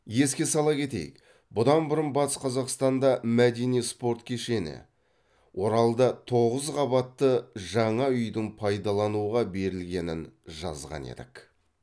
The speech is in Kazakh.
еске сала кетейік бұдан бұрын батыс қазақстанда мәдени спорт кешені оралда тоғыз қабатты жаңа үйдің пайдалануға берілгенін жазған едік